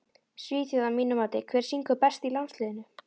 Svíþjóð að mínu mati Hver syngur best í landsliðinu?